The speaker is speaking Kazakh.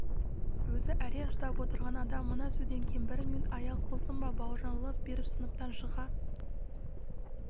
өзі әрең шыдап отырған адам мына сөзден кейін бір минут аял қылсын ба бауыржан лып беріп сыныптан шыға